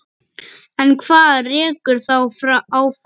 En hvað rekur þá áfram?